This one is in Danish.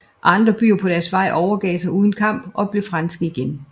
Andre byer på deres vej overgav sig uden kamp og blev franske igen